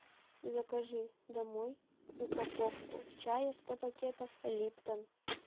закажи домой упаковку чая сто пакетов липтон